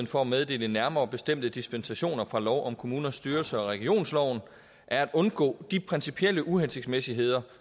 for at meddele nærmere bestemte dispensationer fra lov om kommuners styrelse og regionsloven er at undgå de principielle uhensigtsmæssigheder